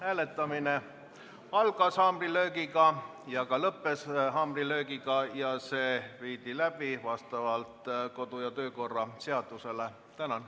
Hääletamine algas haamrilöögiga ja ka lõppes haamrilöögiga ja see viidi läbi vastavalt kodu- ja töökorra seadusele.